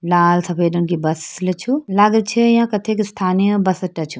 लाल सफ़ेद रंग की बस छु लागेल छ या कथ्य स्थानीय बस अड्डा छु।